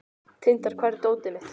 Tindar, hvar er dótið mitt?